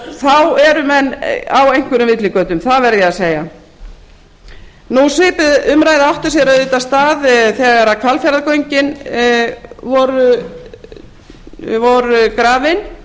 þá erum menn á einhverjum villigötum það verð ég að segja svipuð umræða átti sér auðvitað stað þegar hvalfjarðargöngin voru grafin